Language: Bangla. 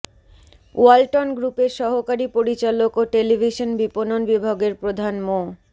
ওয়ালটন গ্রুপের সহকারি পরিচালক ও টেলিভিশন বিপণন বিভাগের প্রধান মো